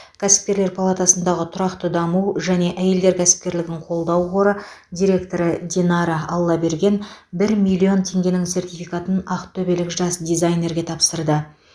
кәсіпкерлер палатасындағы тұрақты даму және әйелдер кәсіпкерлігін қолдау қоры директоры динара аллаберген бір миллион теңгенің сертификатын ақтөбелік жас дизайнерге тапсырды